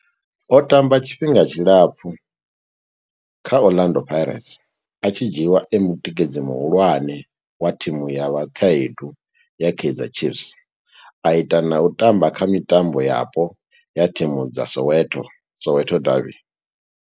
O tamba tshifhinga tshilapfhu kha Orlando Pirates, a tshi dzhiiwa e mutikedzi muhulwane wa thimu ya vhakhaedu ya Kaizer Chiefs, a ita na u tamba kha mitambo yapo ya thimu dza Soweto, Soweto derbies.